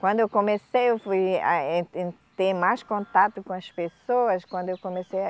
Quando eu comecei ouvir a, eh, e ter mais contato com as pessoas, quando eu comecei a